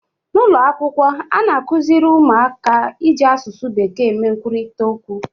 N'ụlọ akwụkwọ a na-akụziri ụmụaka iji asụsụ bekee eme nkwurịta okwu